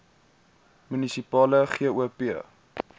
munisipale gop